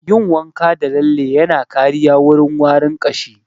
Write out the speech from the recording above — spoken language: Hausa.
Yin wanka da lalle yana kariya wurin warin ƙashi